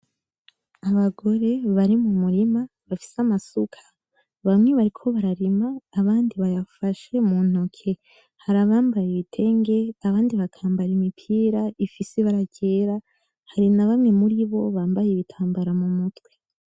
Abagore bari mu murima bafise amasuka. Bamwe bariko bararima abandi bayafashe mu ntoki. Hari abambaye ibitenge abandi bakambara imipira ifise ibara ryera. Hari na bamwe muribo bambaye ibitambara mu mutwe.